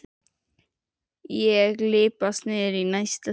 Og ég lyppast niður í næsta stiga.